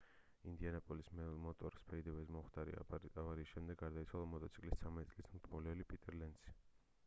ინდიანაპოლის მოტორ სფიდვეიზე მომხდარი ავარიის შედეგად გარდაიცვალა მოტოციკლის 13 წლის მრბოლელი პიტერ ლენცი